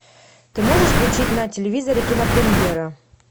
ты можешь включить на телевизоре кинопремьера